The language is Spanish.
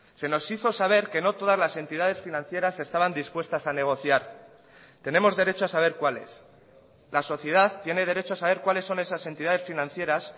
se nos hizo saber que no todas las entidades financieras estaban dispuestas a negociar tenemos derecho a saber cuáles la sociedad tiene derecho a saber cuáles son esas entidades financieras